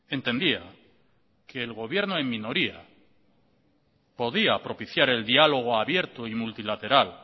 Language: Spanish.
entendía que el gobierno en minoría podía propiciar el diálogo abierto y multilateral